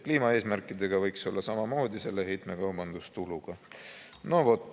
Kliimaeesmärkidega võiks olla samamoodi, selle heitmekaubandustuluga.